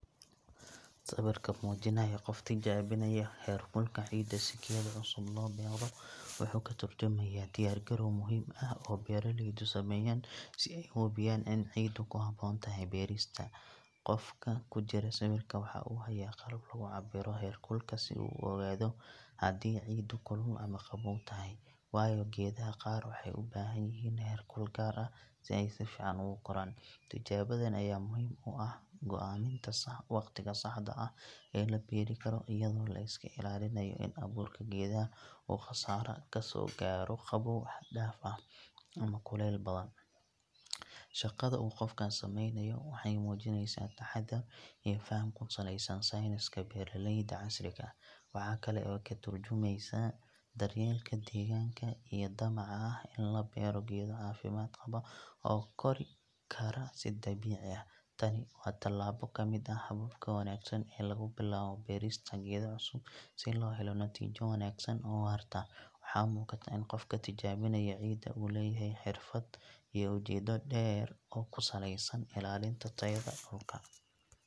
Sawirka muujinaya qof tijaabinaya heerkulka ciidda si geedo cusub loo beero wuxuu ka tarjumayaa diyaar garow muhiim ah oo beeraleydu sameeyaan si ay u hubiyaan in ciiddu ku habboon tahay beerista. Qofka ku jira sawirka waxa uu hayaa qalab lagu cabbiro heerkulka si uu u ogaado haddii ciiddu kulul ama qabow tahay, waayo geedaha qaar waxay u baahan yihiin heerkul gaar ah si ay si fiican ugu koraan. Tijaabadan ayaa muhiim u ah go’aaminta waqtiga saxda ah ee la beeri karo, iyadoo la iska ilaalinayo in abuurka geedaha uu khasaaro ka soo gaaro qabow xad dhaaf ah ama kulayl badan. Shaqada uu qofkaas samaynayo waxay muujinaysaa taxaddar iyo faham ku saleysan sayniska beeraleyda casriga ah. Waxa kale oo ay ka tarjumaysaa daryeelka deegaanka iyo damaca ah in la beero geedo caafimaad qaba oo kori kara si dabiici ah. Tani waa tallaabo ka mid ah hababka wanaagsan ee lagu bilaabo beerista geedo cusub si loo helo natiijo wanaagsan oo waarta. Waxaa muuqata in qofka tijaabinaya ciidda uu leeyahay xirfad iyo ujeeddo dheer oo ku saleysan ilaalinta tayada dhulka.